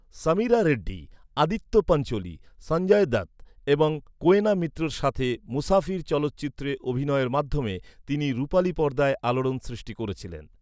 সামিরা রেড্ডি, আদিত্য পাঞ্চোলি, সঞ্জয় দত্ত এবং কোয়েনা মিত্রের সাথে মুসাফির চলচ্চিত্রে অভিনয়ের মাধ্যমে তিনি রুপালি পর্দায় আলোড়ন সৃষ্টি করেছিলেন।